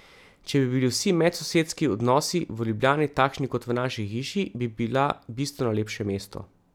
Če bi bili vsi medsosedski odnosi v Ljubljani takšni kot v naši hiši, bi bila bistveno lepše mesto.